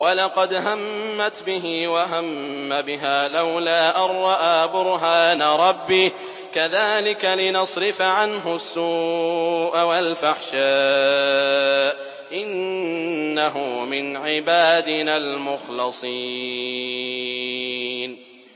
وَلَقَدْ هَمَّتْ بِهِ ۖ وَهَمَّ بِهَا لَوْلَا أَن رَّأَىٰ بُرْهَانَ رَبِّهِ ۚ كَذَٰلِكَ لِنَصْرِفَ عَنْهُ السُّوءَ وَالْفَحْشَاءَ ۚ إِنَّهُ مِنْ عِبَادِنَا الْمُخْلَصِينَ